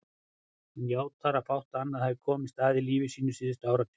Hann játar að fátt annað hafi komist að í lífi sínu síðustu áratugi.